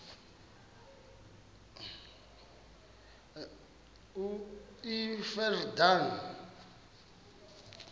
iyordane